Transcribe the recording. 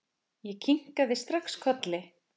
Ég kinkaði strax kolli.